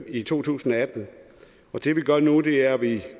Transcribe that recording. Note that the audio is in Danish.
i to tusind og atten og det vi gør nu er at vi